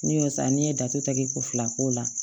N'i y'o san n'i ye datɛgɛ ko fila k'o la